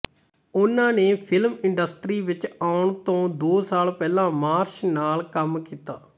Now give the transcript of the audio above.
ਉਨ੍ਹਾਂ ਨੇ film industry ਵਿੱਚ ਆਉਣ ਤੋਂ ਦੋ ਸਾਲ ਪਹਿਲਾਂ ਮਾਰਸ਼ ਨਾਲ ਕੰਮ ਕੀਤਾ